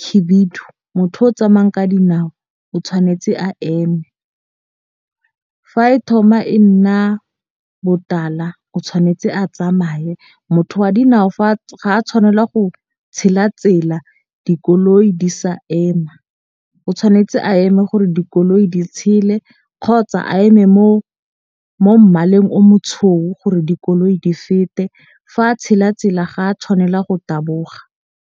khibidu motho yo o tsamayang ka dinao o tshwanetse a eme. Fa e thoma e nna botala o tshwanetse a tsamaye. Motho wa dinao ga a tshwanela go tshela tsela dikoloi di sa ema. O tshwanetse a eme gore dikoloi di tshele kgotsa a eme mo mmaleng o gore dikoloi di fete. Fa a tshela tsela ga a tshwanela go taboga.